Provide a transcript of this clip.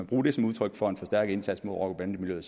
bruge det som udtryk for en forstærket indsats mod rocker bande miljøet